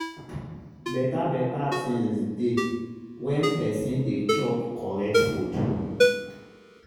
beta beta tinz dey when pesin dey chop correct food